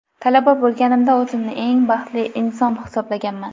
Talaba bo‘lganimda o‘zimni eng baxtli inson hisoblaganman.